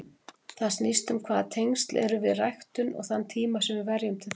Það snýst um hvaða tengsl við ræktum og þann tíma sem við verjum til þeirra.